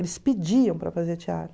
Eles pediam para fazer teatro.